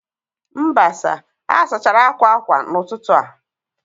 Mba sir, a sachara akwa akwa n'ụtụtụ a